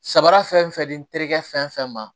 Samara fɛn fɛn di n terikɛ fɛn fɛn ma